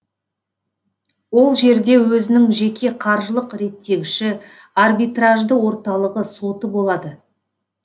ол жерде өзінің жеке қаржылық реттегіші арбитражды орталығы соты болады